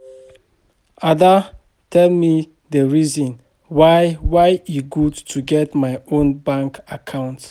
Ada tell me the reason why why e good to get my own bank account